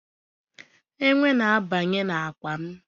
Enwe na-abanye n'akpa m.